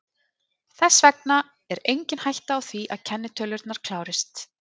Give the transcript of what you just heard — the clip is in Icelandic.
Þess vegna er engin hætta á því að kennitölurnar klárist.